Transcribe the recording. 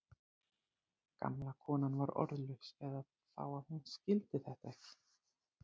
Gamla konan var orðlaus eða þá að hún skildi þetta ekki.